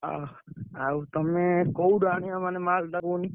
ଆ ଆଉ ତମେ କୋଉଠି ଆଣିଆ ମାନେ ମାଲ୍ ଟା କୁହନି?